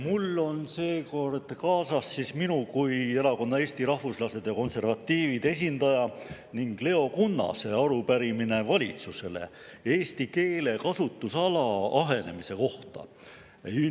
Mul on seekord kaasas minu kui Erakonna Eesti Rahvuslased ja Konservatiivid esindaja ning Leo Kunnase arupärimine valitsusele eesti keele kasutusala ahenemise kohta.